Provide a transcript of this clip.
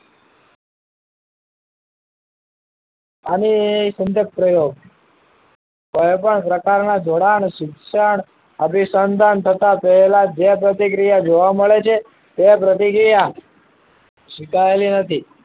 આની સંગત પ્રયોગ કોઈપણ પ્રકારના જોડાણ શિક્ષણ અભિસંધન તથા તેઓના જે પ્રતિક્રિયા જોવા મળે છે તેવા પ્રતિક્રિયા સ્વીકારેલી નથી